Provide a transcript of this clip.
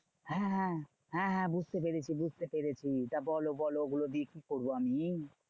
হ্যাঁ হ্যাঁ হ্যাঁ হ্যাঁ বুঝতে পেরেছি বুঝতে পেরেছি। তা বলো বলো ওগুলো দিয়ে কি করবো আমি?